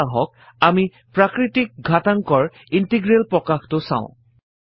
এতিয়া আহক আমি প্ৰাকৄতিক ঘাতাংকৰ160 ইন্টিগ্ৰেল প্ৰকাশটো চাও